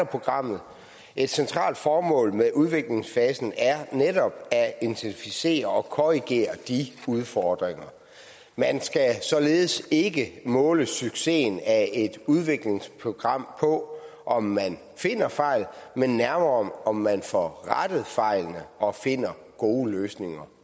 programmet et centralt formål med udviklingsfasen er netop at identificere og korrigere de udfordringer man skal således ikke måle succesen af et udviklingsprogram på om man finder fejl men nærmere om man får rettet fejlene og finder gode løsninger